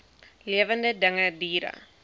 lewende dinge diere